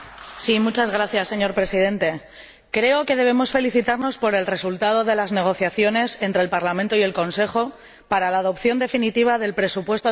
Señor Presidente, creo que debemos felicitarnos por el resultado de las negociaciones entre el Parlamento y el Consejo para la adopción definitiva del presupuesto de la Unión para